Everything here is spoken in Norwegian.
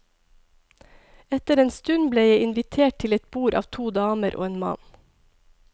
Etter en stund ble jeg invitert til et bord av to damer og en mann.